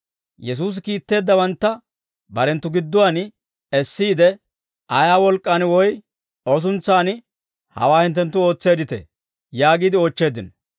Yesuusi kiitteeddawantta barenttu gidduwaan essiide, «Ayaa wolk'k'aan woy O suntsan hawaa hinttenttu ootseedditee?» yaagiide oochcheeddino.